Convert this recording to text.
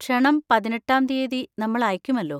ക്ഷണം പതിനെട്ടാം തീയ്യതി നമ്മൾ അയക്കുമല്ലോ.